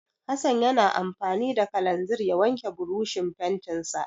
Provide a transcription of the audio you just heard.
Hassan ya na amfani da kalanzir ya wanke burushin fentinsa.